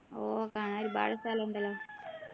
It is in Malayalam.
ഓ കാണാൻ ഒരുപാട് സ്ഥലം ഉണ്ടല്ലോ